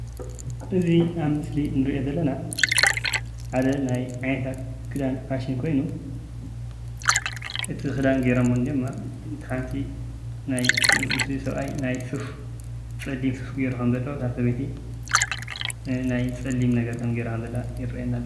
እዙይ ኣብ ምስሊ እንሪኦ ዘለና ሓደ ናይ ዓይነታታት ክዳን ፋሸን ኾይኑ ፤ እቲ ክዳን ገይሮሞዎ እንሀዉ ድማ እቲ ሓንቲ ናይ እቲ ሰብአይ ናይ ሱፍ ፀሊም ሱፍ ጌሩ ኸም ዘሎ እታ ሰበይቲ ናይ ፀሊም ነገር ጌራ ኸም ዘላ የርእየና ኣሎ።